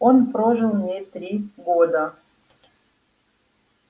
он прожил в ней три года